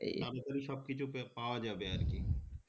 তারপরে সবকিছু পে পাওয়া যাবে আর কি